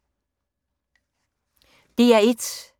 DR1